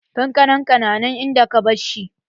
Kankanan na nan in da ka barshi.